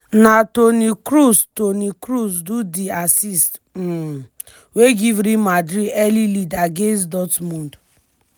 na toni kroos toni kroos do di assist um wey give real madrid early lead against dortmund.